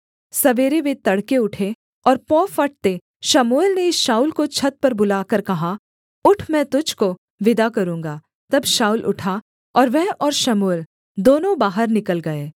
सवेरे वे तड़के उठे और पौ फटते शमूएल ने शाऊल को छत पर बुलाकर कहा उठ मैं तुझको विदा करूँगा तब शाऊल उठा और वह और शमूएल दोनों बाहर निकल गए